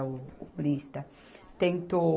O, o humorista tentou